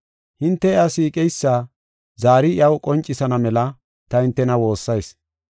Hinte iya siiqeysa zaari iyaw qoncisana mela ta hintena woossayis.